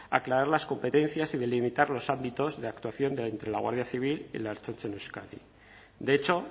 aclarar las competencias y delimitar los ámbitos de actuación entre la guardia civil y la ertzaintza en euskadi de hecho